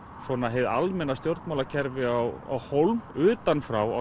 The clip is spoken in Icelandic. hið almenna stjórnmálakerfi á hólm utan frá